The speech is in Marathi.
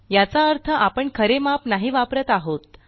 याचा अर्थ आपण खरे माप नाही वापरत आहोत